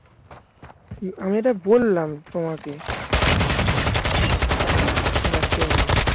উম আমি এটা বললাম তোমাকে just এমনি